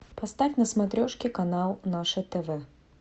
поставь на смотрешке канал наше тв